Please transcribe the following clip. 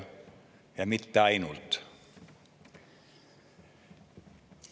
Ja mitte ainult.